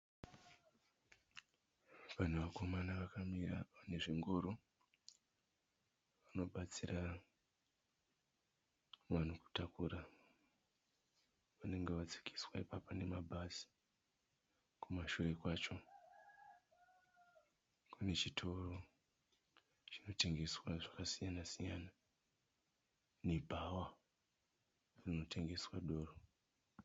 Pane vakomana vakamira vane zvingoro. Vanobatsira vanhu kutakura vanenge vadzikiswa ipapa nemabhazi. Kumashure kwacho kune chitoro chinotengeswa zvakasiyana-siyana nebhawa rinotengeswa doro.